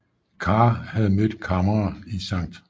Carr havde mødt Kammerer i St